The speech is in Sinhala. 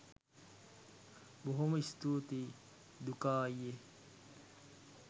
බොහොම ස්තූතියි දුකා අයියෙ